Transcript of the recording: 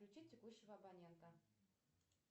включи текущего абонента